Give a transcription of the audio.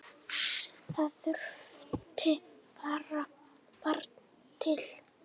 Það þurfti barn til.